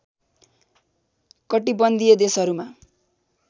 कटिबन्धीय देशहरूमा